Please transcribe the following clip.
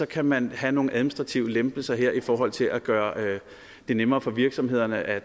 kan man have nogle administrative lempelser her i forhold til at gøre det nemmere for virksomhederne at